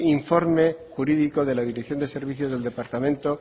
informe jurídico de la dirección de servicio del departamento